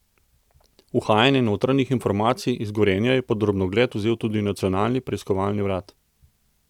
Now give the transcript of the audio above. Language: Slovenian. Uhajanje notranjih informacij iz Gorenja je pod drobnogled vzel tudi Nacionalni preiskovalni urad.